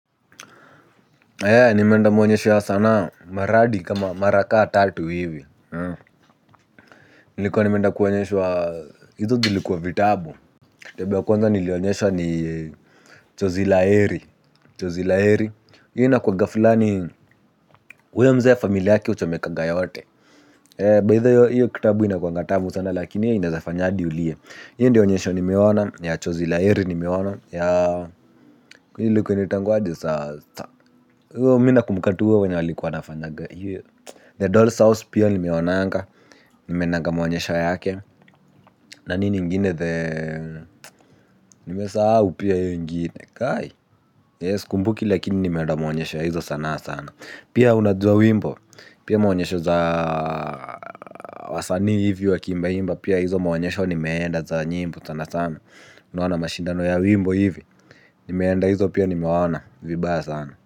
Aya nimeanda maonyesho ya sanaa maradi kama mara kaa tatu hivi. Nilikuwa nimeenda kuonyeshwa hizo tulikuwa vitabu kitabu ya kwanza nilionyeshwa ni chozi la heri chozi la heri. Inakuaga flani huyo mzee na familia yakie huchomekaga yote. Baitha hiyo kitabu inakuanga tamu sana lakini ineaza fanya hadi ulie hiyo ndio onyesho nimeona ya chozi la heri nimeona ya ilikuwa inaitwaga aje sasa kwa hivyo mimi nakumbuka tu wenye walikuwa wanafanya The Dolls House pia nimeonanga. Nimeonanga maonyesho yake. Na nini ingine the nimesahau pia ingine Kai Yes sikumbuki lakini nimeona maonyesho ya hizo sanaa sana. Pia unajua wimbo. Pia maonyesho za wasanii hivi wakiimba imba. Pia hizo maonyesho nimeenda za nyimbo sana sana. Unaona mashindano ya wimbo hivi. Nimeenda hizo pia nimeona. Vibaya sana.